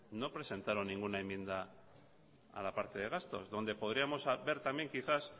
no presentaron ninguna enmienda a la parte de gastos donde podríamos ver también quizás